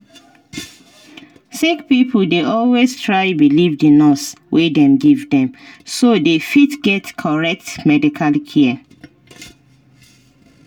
sick pipo dey always try believe the nurse wey dem give dem so dey fit get correct medical care